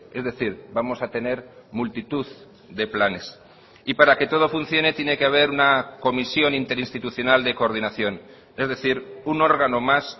es decir vamos a tener multitud de planes y para que todo funcione tiene que haber una comisión interinstitucional de coordinación es decir un órgano más